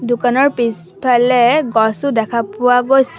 দোকানৰ পিছফালে গছও দেখা পোৱা গৈছে।